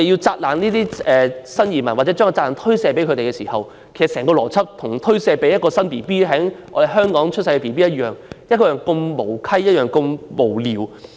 責怪新移民，或將責任推卸予他們，其實與將責任推卸予一名在香港出生的嬰兒一樣無稽、一樣無聊。